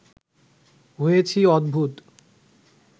হয়েছি অদ্ভুত